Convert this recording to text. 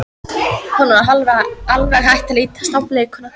Honum var alveg hætt að lítast á blikuna.